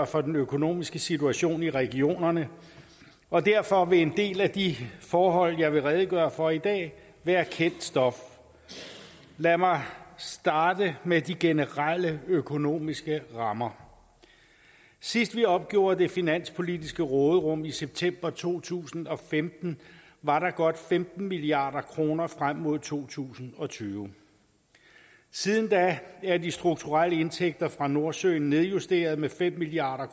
for den økonomiske situation i regionerne og derfor vil en del af de forhold jeg vil redegøre for i dag være kendt stof lad mig starte med de generelle økonomiske rammer sidst vi opgjorde det finanspolitiske råderum i september to tusind og femten var der godt femten milliard kroner frem mod to tusind og tyve siden da er de strukturelle indtægter fra nordsøen nedjusteret med fem milliard